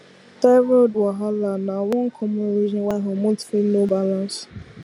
thyroid wahala na one common reason why hormone fit no balance